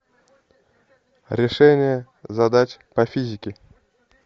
решение задач по физике